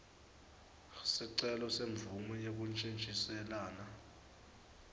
sicelo semvumo yekuntjintjiselana